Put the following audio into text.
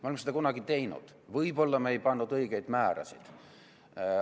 Me oleme seda kunagi teinud, võib-olla me ei pannud õigeid määrasid.